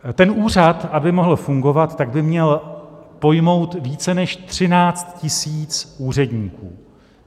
Ten úřad, aby mohl fungovat, tak by měl pojmout více než 13 000 úředníků.